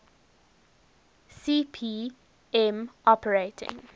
cp m operating